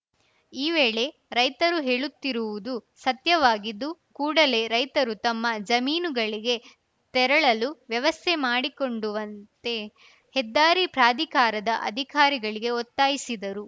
ಈ ವೇಳೆ ರೈತರು ಹೇಳುತ್ತಿರುವುದು ಸತ್ಯವಾಗಿದ್ದು ಕೂಡಲೆ ರೈತರು ತಮ್ಮ ಜಮೀನುಗಳಿಗೆ ತೆರಳಲು ವ್ಯವಸ್ಥೆ ಮಾಡಿಕೊಂಡುವಂತೆ ಹೆದ್ದಾರಿ ಪ್ರಾಧಿಕಾರದ ಅಧಿಕಾರಿಗಳಿಗೆ ಒತ್ತಾಯಿಸಿದರು